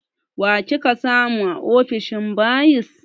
Wa kika samu a ofishin bayis?